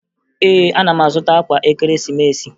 Ee, ana m azụta akwa Ekeresimeesi